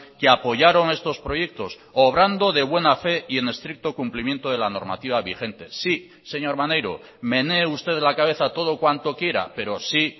que apoyaron estos proyectos obrando de buena fe y en estricto cumplimiento de la normativa vigente sí señor maneiro menee usted la cabeza todo cuanto quiera pero sí